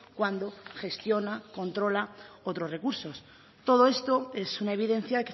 cuando gestiona controla otros recursos todo esto es una evidencia